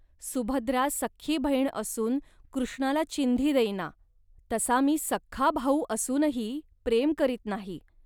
सुभद्रा सख्खी बहीण असून कृष्णाला चिंधी देईना. तसा मी सख्खा भाऊ असूनही प्रेम करीत नाही